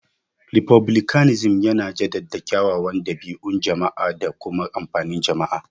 Refublicanism yana jaddada kyawawan dabi'un jama'a da kuma amfanin jama'a.